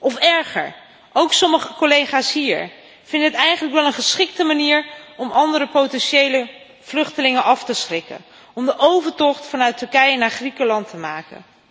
Of erger ook sommige collega's hier vinden het eigenlijk wel een geschikte manier om andere potentiële vluchtelingen af te schrikken om de overtocht vanuit Turkije naar Griekenland te maken.